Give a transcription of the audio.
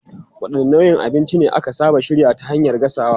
Wadanne nau'ikan abinci ne aka saba shirya ta hanyar gasawa?